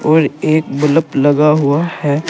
और एक बल्ब लगा हुआ है।